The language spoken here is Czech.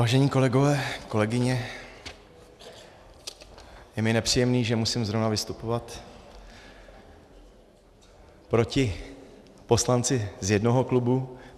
Vážení kolegové, kolegyně, je mi nepříjemné, že musím zrovna vystupovat proti poslanci z jednoho klubu.